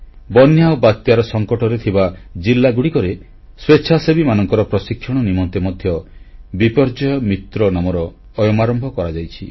ବନ୍ୟା ଓ ବାତ୍ୟାର ସଂକଟରେ ଥିବା ଜିଲ୍ଲାଗୁଡ଼ିକରେ ସ୍ୱେଚ୍ଛାସେବୀମାନଙ୍କର ପ୍ରଶିକ୍ଷଣ ନିମନ୍ତେ ମଧ୍ୟ ବିପର୍ଯ୍ୟୟ ମିତ୍ର ନାମର ଅୟମାରମ୍ଭ କରାଯାଇଛି